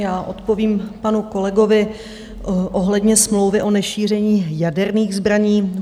Já odpovím panu kolegovi ohledně smlouvy o nešíření jaderných zbraní.